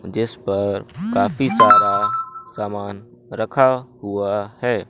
जिस पर काफी सारा सामान रखा हुआ है।